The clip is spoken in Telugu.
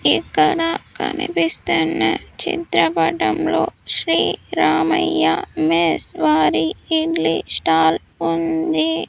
ఇక్కడ కనిపిస్తున్న చిత్రపటంలో శ్రీ రామయ్య మెస్ వారి ఇడ్లీ స్టాల్ ఉంది.